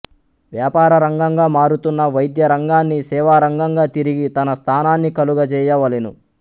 వ్యాపారరంగంగా మారుతున్న వైద్యరంగాన్ని సేవారంగంగా తిరిగీ తన స్థానాన్ని కలుగ జేయవలెను